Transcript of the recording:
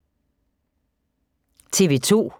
TV 2